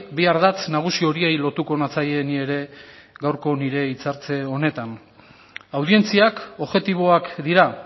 bi ardatz nagusi horiei lotuko natzaie ni ere gaurko nire hitzartze honetan audientziak objektiboak dira